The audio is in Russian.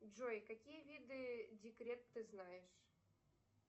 джой какие виды декрет ты знаешь